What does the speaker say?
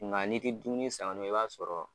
Nga n'i ti dumuni san ka d'u ma i b'a sɔrɔ